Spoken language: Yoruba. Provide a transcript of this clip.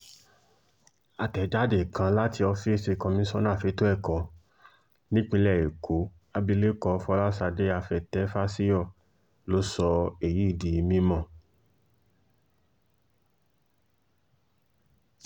àtẹ̀jáde kan láti ọ́fíìsì komisanna fẹ̀tọ́ ẹ̀kọ́ nípìnlẹ̀ ẹ̀kọ́ abilékọ fọlásadé àfetéfásiyọ ló sọ èyí di mímọ́